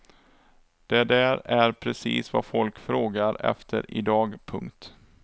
Det där är precis vad folk frågar efter i dag. punkt